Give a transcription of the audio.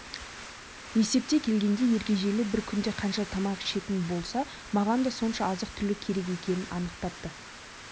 есептей келгенде ергежейлі бір күнде қанша тамақ ішетін болса маған да сонша азық-түлік керек екенін анықтапты